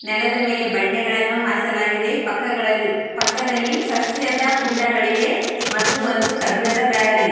ನೆಲದ ಮೇಲೆ ಬಂಡೆಗಳನ್ನು ಹಾಸಲಾಗಿದೆ ಪಕ್ಕಗಳಲ್ಲಿ ಪಕ್ಕದಲ್ಲಿ ಸಸ್ಯದ ಕುಂಡಗಳಿವೆ ಮತ್ತು ಒಂದು ಕಬ್ಬಿಣದ ಬ್ಯಾರಲ್ ಇ --